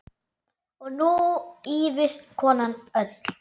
Og nú ýfist konan öll.